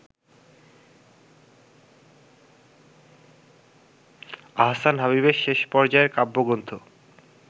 আহসান হাবীবের শেষ পর্যাযের কাব্যগ্রন্থ